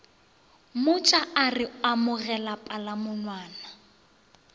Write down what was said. mmotša a re amogela palamonwana